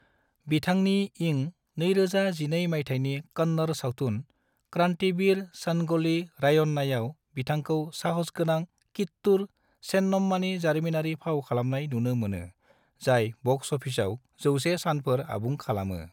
बिथांनि इं 2012 माइथायनि कन्नड़ सावथुन क्रांतिवीर संगोली रायन्नायाव बिथांखौ साहसगोनां कित्तूर चेन्नम्मानि जारिमिनारि फाव खालामनाय नुनो मोनो, जाय बक्स अफिसआव 100 सानफोर आबुं खालामो।